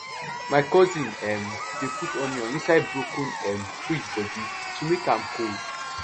my cousin um dey put onion inside broken um fridge body to make am cold